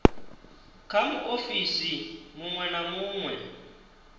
kha muofisi munwe na munwe